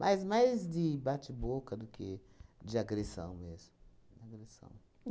Mas mais de bate-boca do que de agressão mesmo. Agressão.